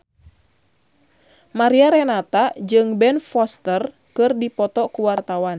Mariana Renata jeung Ben Foster keur dipoto ku wartawan